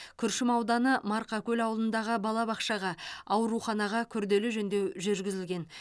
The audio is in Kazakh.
күршім ауданы марқакөл ауылындағы балабақшаға ауруханаға күрделі жөндеу жүргізілген